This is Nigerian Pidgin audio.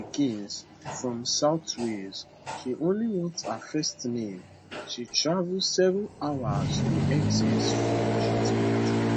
mama of two pikin from south wales she only want her first name she travel seven hours to essex for di treatment